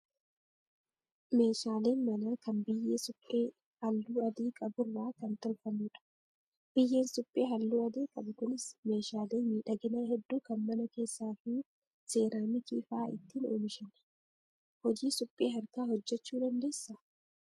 Meeshaaleen manaa kan biyyee suphee halluu adii qaburraa kan tolfamudha. Biyyeen suphee halluu adii qabu kunis meeshaalee miidhaginaa hedduu kan mana keessaa fi seeraamikii fa'aa ittiin oomishna. Hojii suphee harkaa hojjachuu dandeessaa?